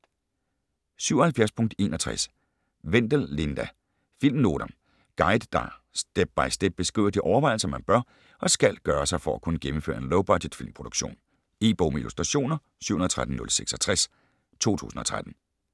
77.61 Wendel, Linda: Filmnoter Guide, der step-by-step beskriver de overvejelser man bør og skal gøre sig for at kunne gennemføre en low-budget filmproduktion. E-bog med illustrationer 713066 2013.